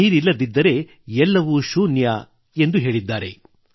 ನೀರಿಲ್ಲದಿದ್ದರೆ ಎಲ್ಲವೂ ಶೂನ್ಯ ಎಂದು ಹೇಳಿದ್ದಾರೆ